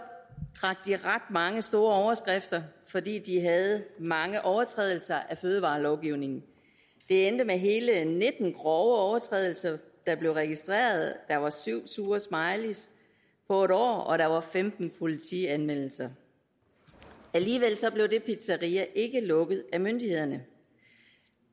ret mange store overskrifter fordi de havde mange overtrædelser af fødevarelovgivningen det endte med hele nitten grove overtrædelser der blev registreret der var syv sure smileys på et år og der var femten politianmeldelser alligevel blev det pizzeria ikke lukket af myndighederne